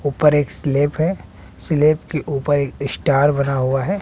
ऊपर एक स्लैप है स्लैप के ऊपर एक स्टार बना हुआ है।